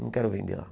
Não quero vender lá.